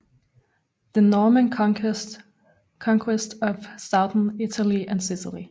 The Norman Conquest of Southern Italy and Sicily